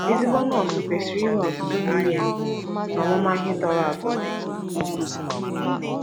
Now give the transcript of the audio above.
Ezigbo nọọsụ kwesiri inwe ozụzụ miri emi na ọmụma ihe torọ ato